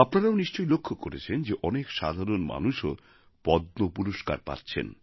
আপনারাও নিশ্চয় লক্ষ করেছেন যে অনেক সাধারণ মানুষও পদ্ম পুরস্কার পাচ্ছেন